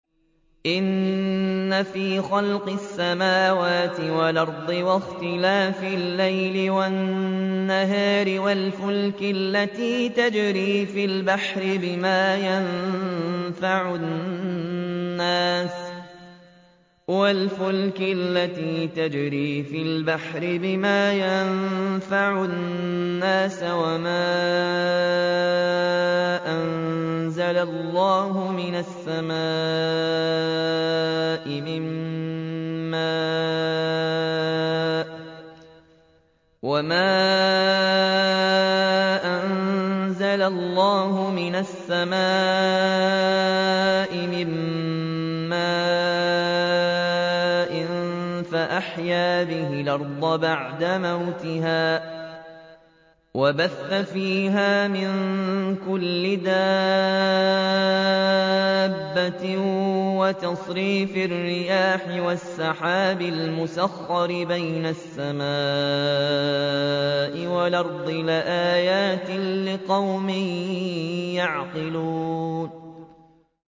إِنَّ فِي خَلْقِ السَّمَاوَاتِ وَالْأَرْضِ وَاخْتِلَافِ اللَّيْلِ وَالنَّهَارِ وَالْفُلْكِ الَّتِي تَجْرِي فِي الْبَحْرِ بِمَا يَنفَعُ النَّاسَ وَمَا أَنزَلَ اللَّهُ مِنَ السَّمَاءِ مِن مَّاءٍ فَأَحْيَا بِهِ الْأَرْضَ بَعْدَ مَوْتِهَا وَبَثَّ فِيهَا مِن كُلِّ دَابَّةٍ وَتَصْرِيفِ الرِّيَاحِ وَالسَّحَابِ الْمُسَخَّرِ بَيْنَ السَّمَاءِ وَالْأَرْضِ لَآيَاتٍ لِّقَوْمٍ يَعْقِلُونَ